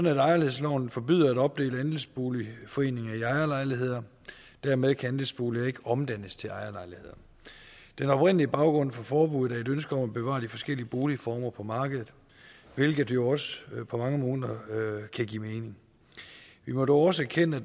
i ejerlejlighedsloven forbydes at opdele andelsboligforeninger i ejerlejligheder dermed kan andelsboliger ikke omdannes til ejerlejligheder den oprindelige baggrund for forbuddet er et ønske om at bevare de forskellige boligformer på markedet hvilket jo også på mange måder kan give mening vi må da også erkende at